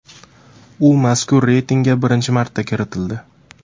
U mazkur reytingga birinchi marta kiritildi.